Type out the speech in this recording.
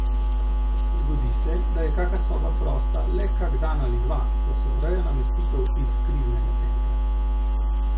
Zgodi se, da je kaka soba prosta le kak dan ali dva, ko se ureja namestitev iz kriznega centra.